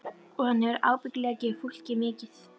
Og hann hefur ábyggilega gefið fólki mikið.